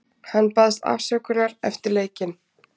Hann baðst afsökunar eftir leikinn.